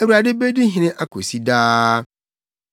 “ Awurade bedi hene akosi daa.”